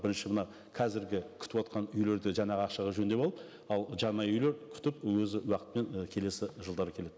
бірінші мына қазіргі күтівотқан үйлерді жаңағы ақшаға жөндеп алып ал жаңа үйлер күтіп өз уақытпен і келесі жылдары келеді